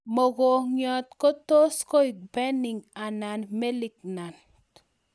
Mogongiot tos koek benign anan malignant